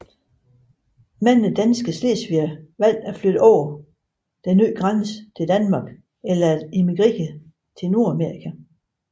Mange danske slesvigere valgte at flytte over den nye grænse til Danmark eller at emigrere til Nordamerika